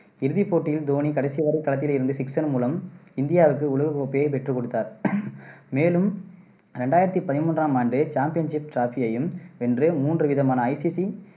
இறுதிப் போட்டியில் தோனி கடைசிவரை களத்தில் இருந்து sixer மூலம், இந்தியாவுக்கு உலகக் கோப்பையைப் பெற்றுக்கொடுத்தார். மேலும், ரெண்டாயிரத்தி பதிமூன்றாம் ஆண்டு championship trophy யையும் வென்று, மூன்று விதமான ICC